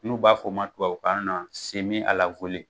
N'u b'a fɔ ma tubabukan na .